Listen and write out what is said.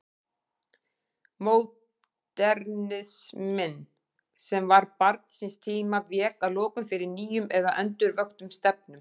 Módernisminn, sem var barn síns tíma, vék að lokum fyrir nýjum eða endurvöktum stefnum.